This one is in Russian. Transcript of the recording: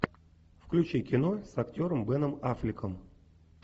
включи кино с актером беном аффлеком